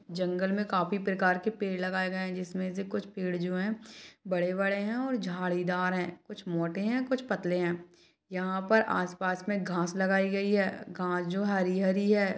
जंगले में काफी प्रकार के पेड़ लगाए गए है जिसमें से कुछ पेड़ जो है बड़े -बड़े है और झाड़ीदार है कुछ मोटे है कुछ पतले है यहाँ पर आसपास में घास लगाई गई है घास जो हरी- हरी हैं।